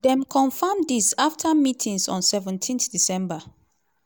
dem confam dis afta meetings on seventeendecember.